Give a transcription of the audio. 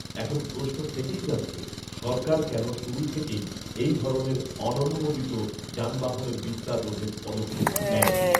এখন প্রশ্ন থেকেই যাচ্ছে, সরকার কেন শুরু থেকেই এই ধরণের অননুমোদিত যানবাহনের বিস্তার রোধে পদক্ষেপ নেয়নি